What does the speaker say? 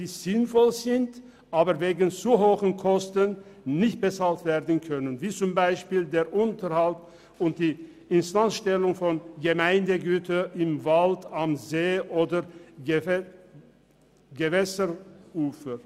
Sie sind sinnvoll, können aber wegen zu hoher Kosten nicht bezahlt werden, so beispielsweise der Unterhalt und die Instandstellung von Gemeindegütern im Wald, an See- oder Gewässerufer.